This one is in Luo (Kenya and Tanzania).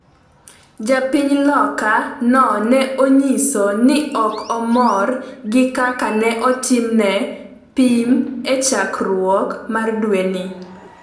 Ja piny loka no ne onyiso ni ok mor gi kaka ne otimne pim e chakruok mar dwe ni